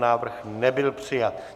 Návrh nebyl přijat.